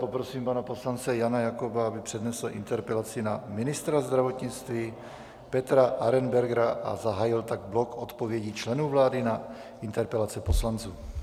Poprosím tedy poslance Jana Jakoba, aby přednesl interpelaci na ministra zdravotnictví Petra Arenbergera a zahájil tak blok odpovědí členů vlády na interpelace poslanců.